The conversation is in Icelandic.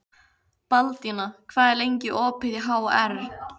Baldína, hvað er lengi opið í HR?